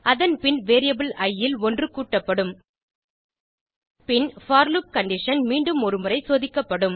அதன் பின் வேரியபிள் இ ல் ஒன்று கூட்டப்படும் பின் போர் லூப் கண்டிஷன் மீண்டும் ஒருமுறை சோதிக்கப்படும்